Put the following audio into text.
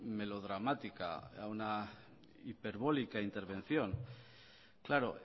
melodramática a una hiperbólica intervención claro